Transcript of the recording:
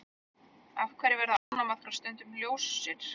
Af hverju verða ánamaðkar stundum ljósir?